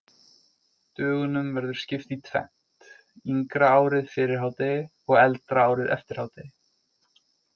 Dögunum verður skipt í tvennt, yngra árið fyrir hádegi og eldra árið eftir hádegi.